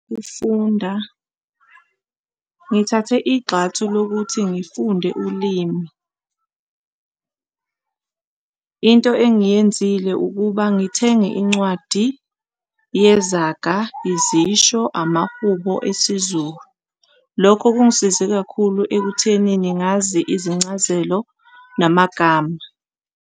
Ifunda, ngithathe igxathu lokuthi ngufunde ulimi. Into engiyenzile ukuba ngithenge incwadi yezaga, izisho, amahubo esiZulu. Lokho kungisize kakhulu ekuthenini ngazi izincazelo namagama.